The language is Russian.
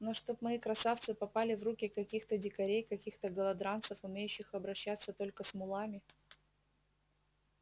но чтоб мои красавцы попали в руки каких-то дикарей каких-то голодранцев умеющих обращаться только с мулами